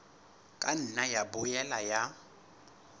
ka nna ya boela ya